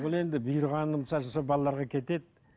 ол енді бұйырғанынша сол балаларға кетеді